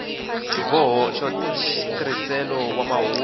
xiboho xa nsirhelelo xa mahungu